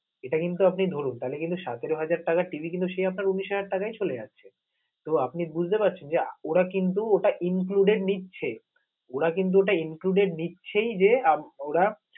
এটা কিন্তু আপনি ধরুন, তালে কিন্তু সতেরো হাজার টাকা TV কিন্তু, সে আপনার উনিশ হাজার টাকায় চলে যাচ্ছে, তো আপনি বুঝতে পারছেন যে ওরা কিন্তু ওটা included নিচ্ছে, ওরা কিন্তু ওটা included নিচ্ছেই. যে ওরা